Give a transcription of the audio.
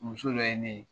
Muso dɔ ye ne ye